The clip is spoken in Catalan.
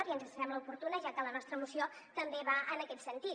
i ens sembla oportuna ja que la nostra moció també va en aquest sentit